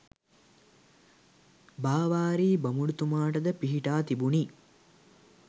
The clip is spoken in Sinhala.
බාවාරි බමුණුතුමාට ද පිහිටා තිබුණි.